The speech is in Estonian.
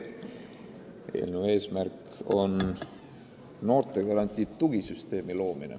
Eelnõu eesmärk on luua noortegarantii tugisüsteem.